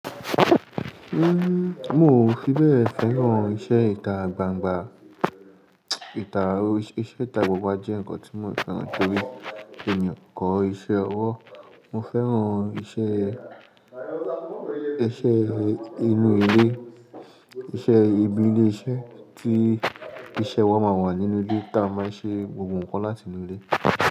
Mi ò fi bẹ́ẹ̀ fẹ́ràn iṣẹ́ ìta gbangba, iṣẹ́ ìta gbogbo wa jẹ́ nǹkan tí mo ò fẹ́ràn torí èèyàn kọ́ iṣẹ́ ọwọ́. Mo fẹ́ran iṣẹ́, iṣẹ́ inú ilé, iṣẹ́ ibi ilé iṣẹ́ tí iṣẹ́ wa máa wà nínú ilé tí a máa ṣe gbogbo nǹkan láti inú ilé.